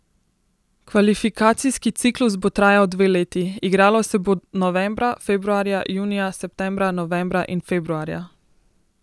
Kvalifikacijski ciklus bo trajal dve leti, igralo se bo novembra, februarja, junija, septembra, novembra in februarja.